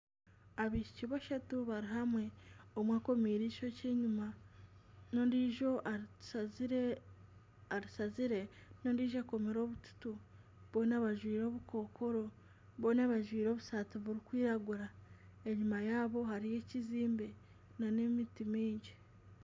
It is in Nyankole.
Abaishiki bashatu bari hamwe, omwe akomiire eishokye enyuma n'ondijo arishazire, ondijo akomire obututu boona bajwaire Obukokoro , boona bajwaire obusati burikwiragura enyima yabo hariyo ekizimbe na emiti mingi.